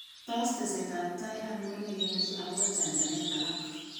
Tos tesetab tai ainon negenyorchin akobo chajanet alak.